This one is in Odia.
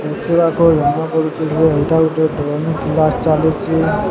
ଦେଖିବାକୁ ଜଣା ପଡ଼ୁଛି ଯେ ଏଇଟା ଗୋଟିଏ ଡ୍ରେନ୍ କିଲାସ ଚାଲିଚି।